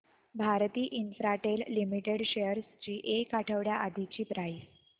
Bharti Infratel limited shares ची एक आठवड्या आधीची प्राइस